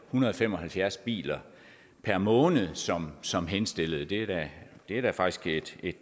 hundrede og fem og halvfjerds biler per måned som som henstillede det er da faktisk et